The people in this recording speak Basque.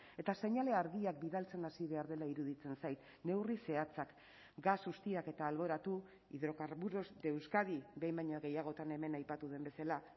eta seinale argiak bidaltzen hasi behar dela iruditzen zait neurri zehatzak gas ustiaketa alboratu hidrocarburos de euskadi behin baino gehiagotan hemen aipatu den bezala